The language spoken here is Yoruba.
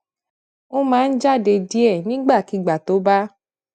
ó máa ń jáde díè nígbàkigbà tó bá